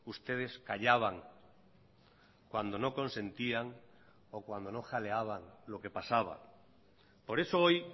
ustedes callaban cuando no consentían o cuando no jaleaban lo que pasaba por eso hoy